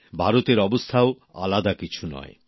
ভারতের অবস্থাও আলাদা কিছু নয়